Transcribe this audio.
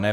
Ne.